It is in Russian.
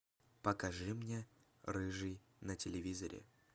покажи мне рыжий на телевизоре